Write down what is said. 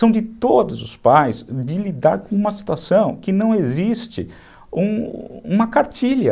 São de todos os pais de lidar com uma situação que não existe uma cartilha.